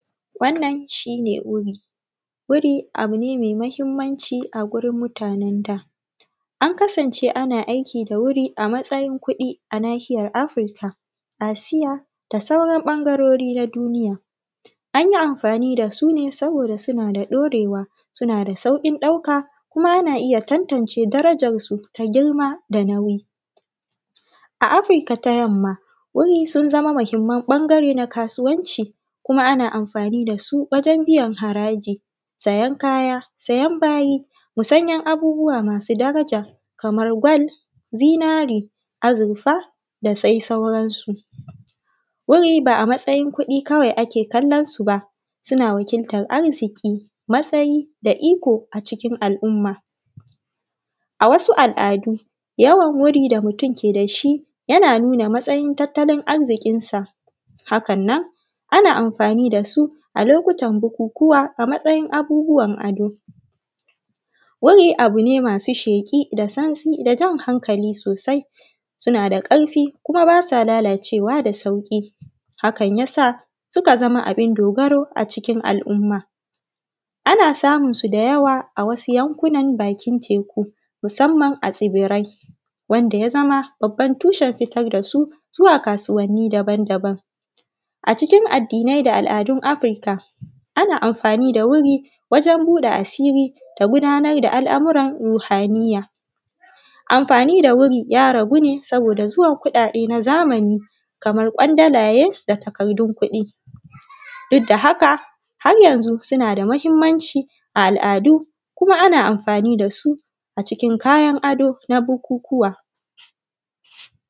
Wannan shine wuri, wuri abu ne me mahinmanci a gurin mutanen da an kasance ana aiki da wuri a matsayin kuɗi a nahiyar Afurika, Asiya da sauran ɓangarori na duniya an yi amfani da su ne saboda suna da ɗorewa suna da sauƙin ɗauka kuma ana iya tantance darajarsu ta girma da nauyi. A Afirika ta yamma wuri sun zama mahinman ɓangare na kasuwanci kuma ana amfani da su wajen biyan haraji, sayan kayan kaya, sayan bayi da sauran abubuwa masu daraja kamar gwal, zinare, azurfa da dai sauransu. Wuri ba a matsayin kuɗi kawai ake kallon su ba suna wakiltan arziki matsayi da iko a cikin al’umma a wasu al’adu yawan wuri da mutum yake da su yana nuna matsayin tattalin arzikinsa hakan nan, ana amfani da su a lokutan bukukuwa a matsayin abubuwan ado, wuri abu ne masu sheƙa da santsi da jan hankali sosai suna da ƙarfi kuma ba sa lalacewa da sauri hakan ya sa suka zama abun dogaro a cikin al’umma. Ana samunsu da yawa a wasu yankuna bakin teku musamman a tsibirai wanda ya zama babban tushen fitar da su zuwa kasuwanni daban-daban a cikin addinai da al’adun Afirika, ana amfani da wuri wajen buɗe asiri da gudanar da al’amuran ruhaniya. Anfani da wuri ya ragu ne saboda zuwan kuɗaɗe na zamani kaman kwandalaye da takardun kuɗi duk da haka har yanzu suna da mahinmanci al’adu kuma ana amfani da su a cikin kaya na da na buhunhuwa.